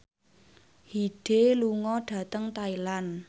Hyde lunga dhateng Thailand